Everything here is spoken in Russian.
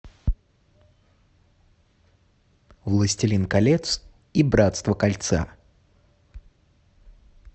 властелин колец и братство кольца